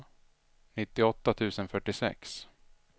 nittioåtta tusen fyrtiosex